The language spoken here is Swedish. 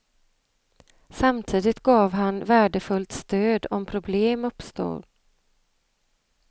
Samtidigt gav han värdefullt stöd om problem uppstod.